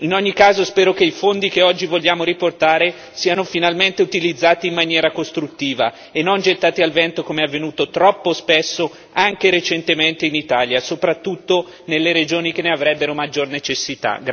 In ogni caso spero che i fondi che oggi vogliamo riportare siano finalmente utilizzati in maniera costruttiva e non gettati al vento come è avvenuto troppo spesso, anche recentemente in Italia, soprattutto nelle regioni che ne avrebbero maggior necessità.